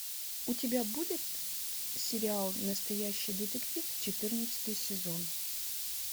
у тебя будет сериал настоящий детектив четырнадцатый сезон